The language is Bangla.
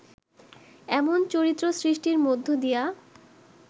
এমন চরিত্র সৃষ্টির মধ্য দিয়া